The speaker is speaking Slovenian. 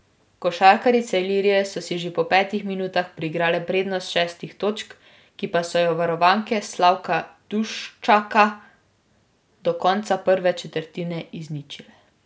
Košarkarice Ilirije so si že po petih minutah priigrale prednost šestih točk, ki pa so jo varovanke Slavka Duščaka do konca prve četrtine izničile.